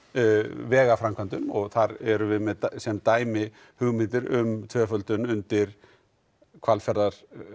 vegaframkvæmdum og þar erum við með sem dæmi hugmyndir um tvöföldun undir Hvalfjörðinn